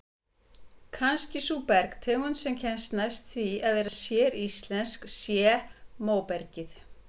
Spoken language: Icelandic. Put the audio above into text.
Kannski sú bergtegund sem næst kemst því að vera séríslensk sé móbergið.